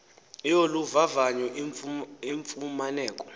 yolu vavanyo ifumaneka